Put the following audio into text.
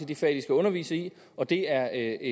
de fag de skal undervise i og det er